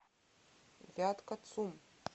вятка цум